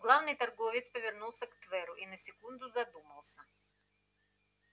главный торговец повернулся к тверу и на секунду задумался